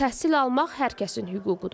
Təhsil almaq hər kəsin hüququdur.